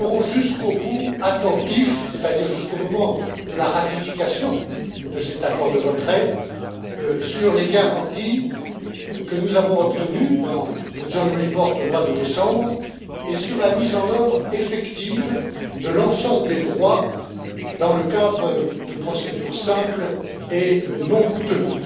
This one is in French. Nous resterons jusqu'au bout attentifs c'est à dire jusqu'au moment de la ratification de cet accord de retrait aux garanties que nous avons obtenues dans le rapport conjoint au mois de décembre et sur la mise en œuvre effective de l'ensemble des droits dans le cadre de procédures simples et non coûteuses.